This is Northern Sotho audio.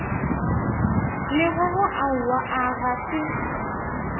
lekgokgo aowa a ga se